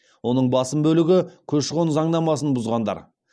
оның басым бөлігі көші қон заңнамасын бұзғандар